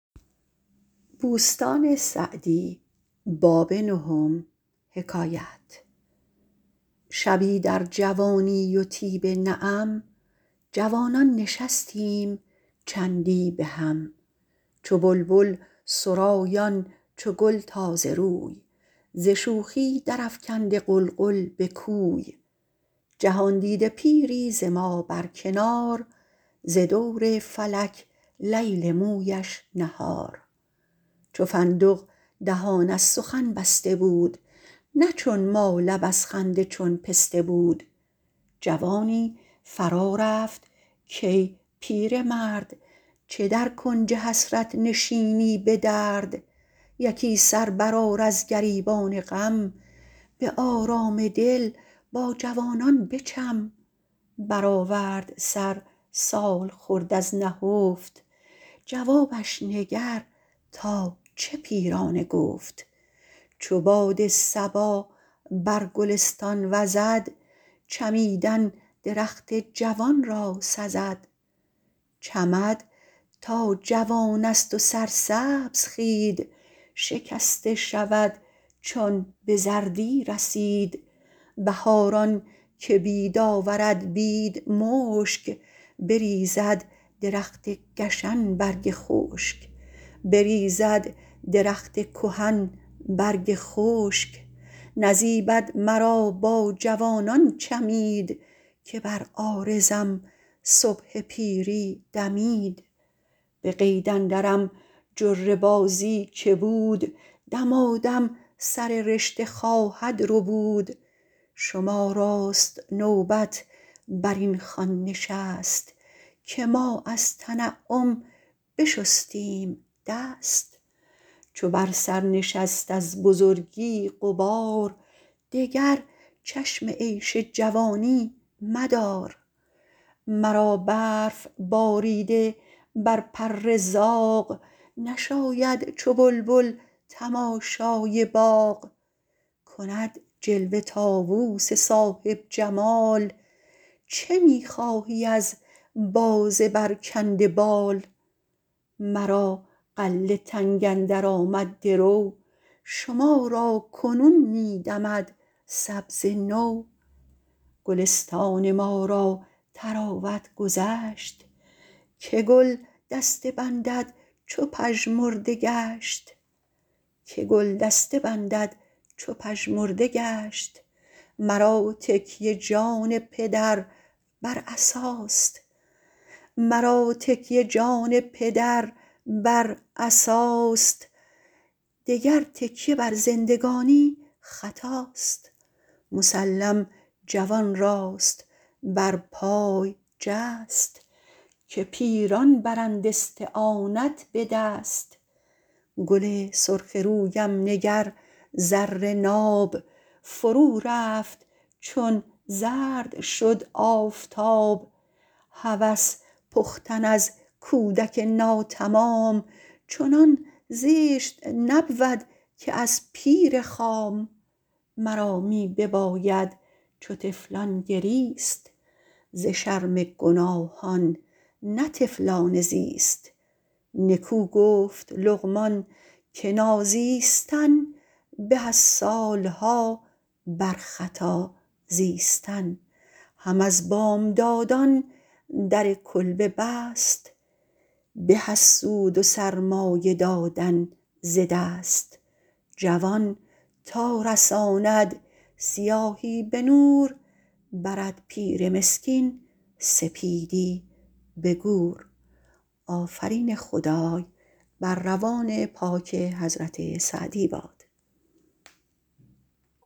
شبی در جوانی و طیب نعم جوانان نشستیم چندی بهم چو بلبل سرایان چو گل تازه روی ز شوخی در افکنده غلغل به کوی جهاندیده پیری ز ما بر کنار ز دور فلک لیل مویش نهار چو فندق دهان از سخن بسته بود نه چون ما لب از خنده چون پسته بود جوانی فرا رفت کای پیرمرد چه در کنج حسرت نشینی به درد یکی سر برآر از گریبان غم به آرام دل با جوانان بچم برآورد سر سالخورد از نهفت جوابش نگر تا چه پیرانه گفت چو باد صبا بر گلستان وزد چمیدن درخت جوان را سزد چمد تا جوان است و سرسبز خوید شکسته شود چون به زردی رسید بهاران که بید آورد بید مشک بریزد درخت گشن برگ خشک نزیبد مرا با جوانان چمید که بر عارضم صبح پیری دمید به قید اندرم جره بازی که بود دمادم سر رشته خواهد ربود شما راست نوبت بر این خوان نشست که ما از تنعم بشستیم دست چو بر سر نشست از بزرگی غبار دگر چشم عیش جوانی مدار مرا برف باریده بر پر زاغ نشاید چو بلبل تماشای باغ کند جلوه طاووس صاحب جمال چه می خواهی از باز برکنده بال مرا غله تنگ اندر آمد درو شما را کنون می دمد سبزه نو گلستان ما را طراوت گذشت که گل دسته بندد چو پژمرده گشت مرا تکیه جان پدر بر عصاست دگر تکیه بر زندگانی خطاست مسلم جوان راست بر پای جست که پیران برند استعانت به دست گل سرخ رویم نگر زر ناب فرو رفت چون زرد شد آفتاب هوس پختن از کودک ناتمام چنان زشت نبود که از پیر خام مرا می بباید چو طفلان گریست ز شرم گناهان نه طفلانه زیست نکو گفت لقمان که نازیستن به از سالها بر خطا زیستن هم از بامدادان در کلبه بست به از سود و سرمایه دادن ز دست جوان تا رساند سیاهی به نور برد پیر مسکین سپیدی به گور